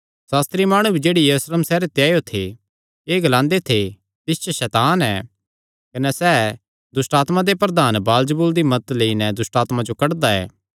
सास्त्री माणु भी जेह्ड़े यरूशलेम सैहरे ते आएयो थे एह़ ग्लांदे थे तिस च सैतान ऐ कने सैह़ दुष्टआत्मां दे प्रधान बालजबूल सैतान दी मदत लेई नैं दुष्टआत्मां जो कड्डदा ऐ